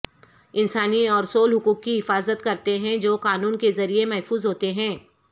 انسانی اور سول حقوق کی حفاظت کرتے ہیں جو قانون کے ذریعہ محفوظ ہوتے ہیں